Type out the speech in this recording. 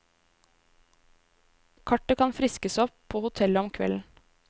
Kartet kan friskes opp på hotellet om kvelden.